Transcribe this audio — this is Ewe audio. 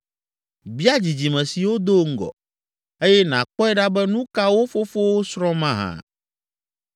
“Bia dzidzime siwo do ŋgɔ, eye nàkpɔe ɖa be nu ka wo fofowo srɔ̃ mahã,